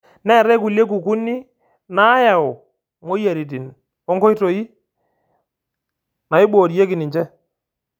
Neetae kulie kukuni naayau moyiaritin o nkoitoi naaiborieki ninche.